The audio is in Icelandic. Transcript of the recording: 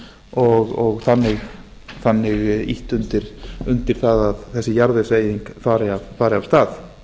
og þannig ýtt undir það að þessi jarðvegseyðing fari af stað